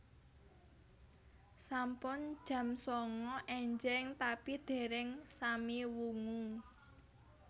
Sampun jam sanga enjing tapi dereng sami wungu